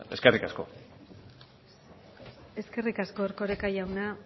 eskerrik asko eskerrik asko erkoreka jauna